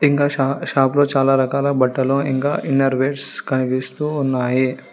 ఇంకా shop shop లో చాలా రకాల బట్టలు ఇంకా ఇన్నర్ వేర్స్ కనిపిస్తూ ఉన్నాయి.